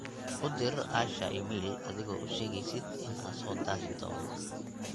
u dir asha iimayl adigo ushegeysid in aan soo daahi doono